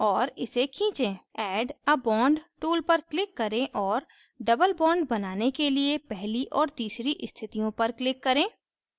add a bond tool पर click करें और double bond बनाने के लिए पहली और तीसरी स्थितियों पर click करें